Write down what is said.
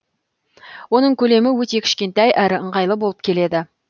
оның көлемі өте кішкентай әрі ыңғайлы болып келеді